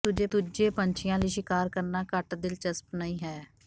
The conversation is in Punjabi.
ਪਰ ਦੂਜੇ ਪੰਛੀਆਂ ਲਈ ਸ਼ਿਕਾਰ ਕਰਨਾ ਘੱਟ ਦਿਲਚਸਪ ਨਹੀਂ ਹੈ